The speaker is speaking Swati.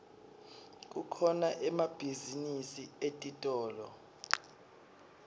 kukhona emabhizinisi etitolo